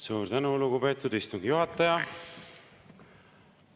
Suur tänu, lugupeetud istungi juhataja!